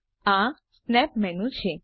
આ snap menu છે